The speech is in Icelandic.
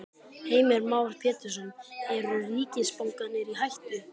Heimir Már Pétursson: Eru ríkisbankarnir í hættu?